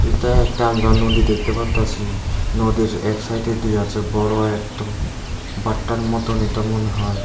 এইটা একটা আমরা নদী দেখতে পারতাসি নদীর এক সাইডে দিয়া আছে বড় একটা পাট্টার মতনই তো মনে হয়।